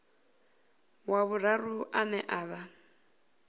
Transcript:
wa vhuraru ane a vha